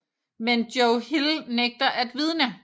Men Joe Hill nægter at vidne